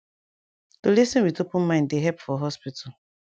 to lis ten with open mind dey epp for hospital